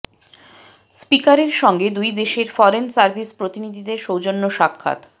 স্পিকারের সঙ্গে দুই দেশের ফরেন সার্ভিস প্রতিনিধিদের সৌজন্য সাক্ষাৎ